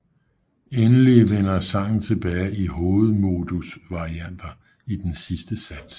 Endelig vender sangen tilbage i hovedmodusvarianter i den sidste sats